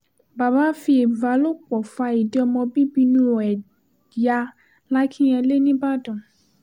baba fi ìbálòpọ̀ fa ìdí ọmọ bíbí inú ẹ̀ ya làkínyẹlé nìbàdàn